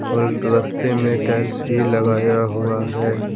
और रस्ते में टाइल्स भी लगाया हुआ है।